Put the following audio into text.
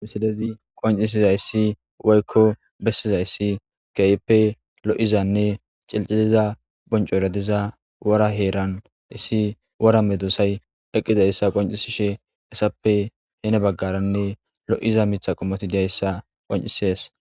Missilezi qonc'isizaysi woyko besizaysi kehipe lo'izane c'ilc'iliza bonc'ora diza wora heran issi wora medosay eqidaysa qonc'isishe hesape heni bagaranne lo'iza Mitha qomoti diyaysa qonc'ses.